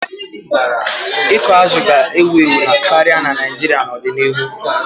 Ịkụ azụ̀ ga-ewu ewu karịa na Naijiria n'odinihu.